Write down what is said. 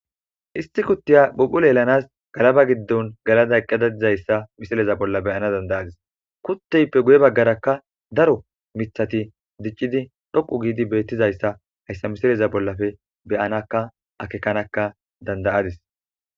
issi kuttiya buphula yelanas galaba giddon galada eqqadadizayssa misileza bolla beyana dandayadis kutteyppe guye baggarakka daro mithati diccidi dhoqu giidi beettizayssa hayssa misileza bollafe beyanaka akekanaka dandayadis